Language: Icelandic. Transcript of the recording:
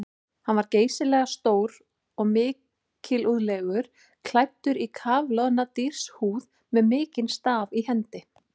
Hann var geysilega stór og mikilúðlegur, klæddur í kafloðna dýrshúð með mikinn staf í hendi.